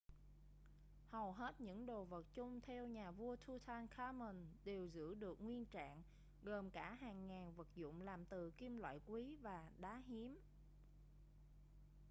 hầu hết những đồ vật chôn theo nhà vua tutankhamun đều giữ được nguyên trạng gồm cả hàng ngàn vật dụng làm từ kim loại quý và đá hiếm